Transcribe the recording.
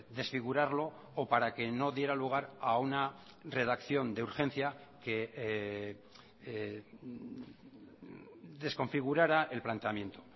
desfigurarlo o para que no diera lugar a una redacción de urgencia que desconfigurara el planteamiento